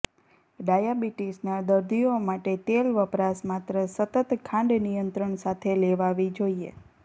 ડાયાબિટીસના દર્દીઓ માટે તેલ વપરાશ માત્ર સતત ખાંડ નિયંત્રણ સાથે લેવાવી જોઈએ